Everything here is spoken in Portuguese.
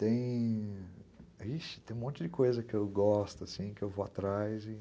Tem...vixe, tem um monte de coisa que eu gosto, que eu vou atrás.